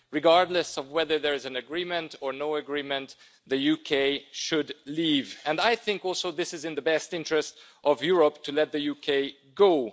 Regardless of whether there is an agreement or no agreement, the UK should leave, and I also think that it is in the best interest of Europe to let the UK go.